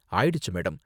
ஆயிடுச்சு மேடம்.